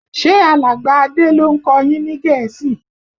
Ṣe alàgbà Adé ló ń kọ yín ní Gẹ̀ẹ́sì?